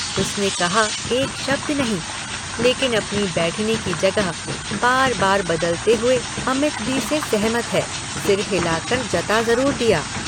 उसने कहा एक शब्द नहीं लेकिन अपनी बैठने की जगह बार बार बदलते हुए अमित दी से सहमत है सिर हिलाकर जता जरूर दिया।